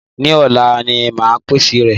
Ní òla ni máa pèsè rẹ̀